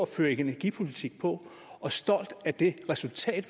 føre energipolitik på og stolt af det resultat